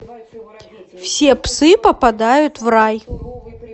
все псы попадают в рай